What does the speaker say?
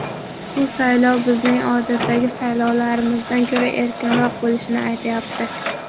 Bu saylov bizning odatdagi saylovlarimizdan ko‘ra erkinroq bo‘lishini aytyapti.